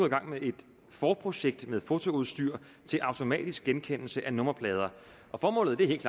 i gang med et forprojekt med fotoudstyr til automatisk genkendelse af nummerplader og formålet er helt